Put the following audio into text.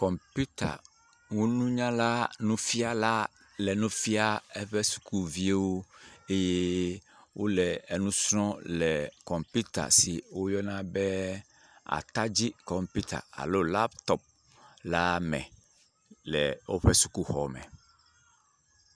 Kɔmpitanunyale nufiala le nufiam eƒe sukuviwo eye wole enu srɔ̃m le kɔmpita si woyɔna be atadzi kɔmpita alo laptop la me le woƒe sukuxɔme.